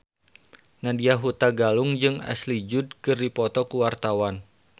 Nadya Hutagalung jeung Ashley Judd keur dipoto ku wartawan